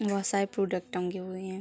बहोत सारे प्रोडक्ट टंगे हुए हैं।